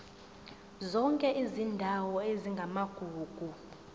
zonke izindawo ezingamagugu